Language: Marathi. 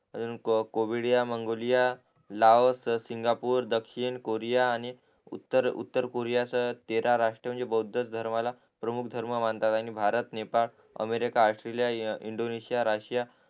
कोविडीया मंगोलिया लाओसच सिंगापूर दक्षिण कोरिया आणि उत्तर उत्तरकोरियासह तेरा राष्ट्र म्हणजे बौद्ध धर्माला प्रमुख धर्म मानतात आणि Bharat Nepal America Australia Indonesia Russia